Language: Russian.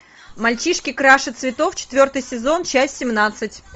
мальчишки краше цветов четвертый сезон часть семнадцать